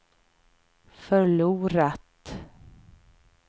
förlorat